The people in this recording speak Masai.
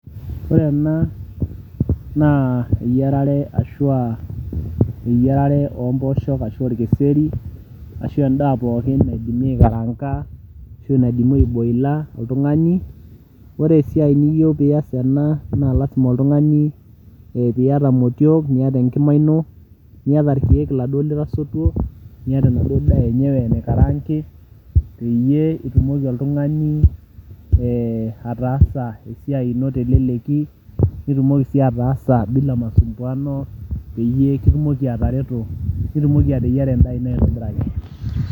ore ena naa eyiarare ashua eyiarare ompooshok ashu orkeseri ashu endaa pookin naidimi aikaranga ashu naidimi aeboila oltung'ani ore esiai niyieu piyas ena naa lasima oltung'ani piyata imotiok niata enkima ino niyata irkeek iladuo litasutuo niata enaduo daa enyewe naikarangi peyie itumoki oltung'ani eh, ataasa esiai ino teleleki nitumoki sii ataasa bila masumbuano peyie kitumoki atareto nitumoki ateyiera endaa ino aitobiraki.